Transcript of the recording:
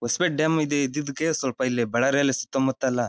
Hosapete dam ಇದೆ ಇದ್ದಿದಕ್ಕೆ ಸ್ವಲ್ಪ ಇಲ್ಲಿ ಬಳ್ಳಾರಿಯಲ್ಲಿ ಸುತ್ತಮುತ್ತ ಎಲ್ಲ--